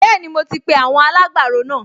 Bẹ́ẹ̀ni, mo ti pe àwọn alágbàro náà